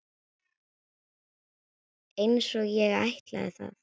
Einsog ég ætlaði.